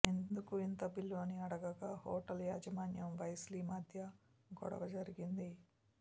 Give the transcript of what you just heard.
ఎందుకు ఇంత బిల్లు అని అడుగగా హోటల్ యాజమాన్యం వెస్లీ మధ్య గొడవ జరిగింది